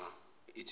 ugamaliyeli